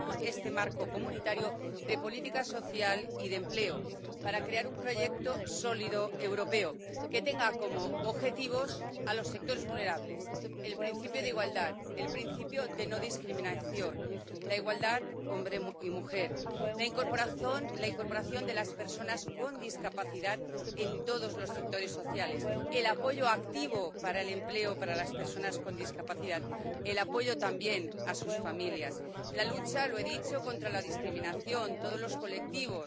Este marco comunitario de política social y de empleo es importantísimo para crear un proyecto sólido europeo que tenga como objetivo a los sectores vulnerables. Hay que defender el principio de igualdad, el principio de no discriminación, la igualdad entre hombre y mujer, la incorporación de las personas con discapacidad a todos los sectores sociales, el apoyo activo para el empleo para las personas con discapacidad y el apoyo también a sus familias. Como he dicho, hay que luchar contra la discriminación de todos los colectivos